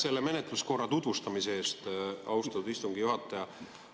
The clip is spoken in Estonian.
Aitäh menetluskorra tutvustamise eest, austatud istungi juhataja!